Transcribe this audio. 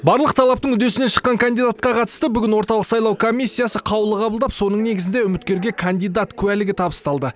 барлық талаптың үдесінен шыққан кандидатқа қатысты бүгін орталық сайлау комиссиясы қаулы қабылдап соның негізінде үміткерге кандидат куәлігі табысталды